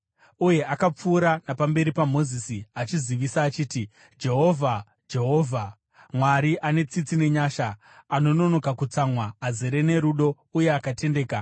Uye akapfuura napamberi paMozisi, achizivisa achiti, “Jehovha, Jehovha, Mwari ane tsitsi nenyasha, anononoka kutsamwa, azere norudo uye akatendeka,